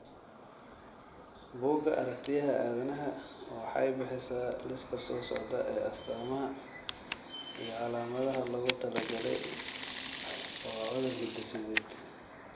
Bugga Aragtiyyaha Aadanaha waxay bixisaa liiska soo socda ee astamaha iyo calaamadaha loogu talagalay waa cudur hidde-sideed.